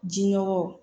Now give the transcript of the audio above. Ji nɔgɔw